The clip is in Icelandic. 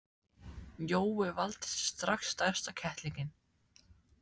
Jói valdi sér strax stærsta kettlinginn.